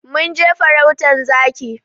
Mun je farautan zaki.